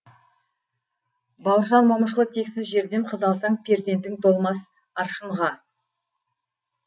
бауыржан момышұлы тексіз жерден қыз алсаң перзентің толмас аршынға